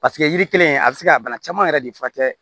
Paseke yiri kelen a bɛ se ka bana caman yɛrɛ de furakɛ